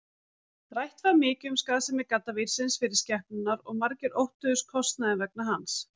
Rætt var mikið um skaðsemi gaddavírsins fyrir skepnurnar og margir óttuðust kostnaðinn vegna hans.